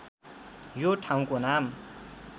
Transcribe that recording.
यो ठाउँको नाम